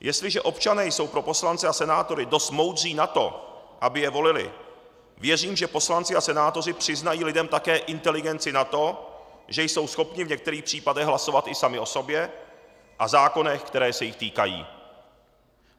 Jestliže občané jsou pro poslance a senátory dost moudří na to, aby je volili, věřím, že poslanci a senátoři přiznají lidem také inteligenci na to, že jsou schopni v některých případech hlasovat i sami o sobě a zákonech, které se jich týkají.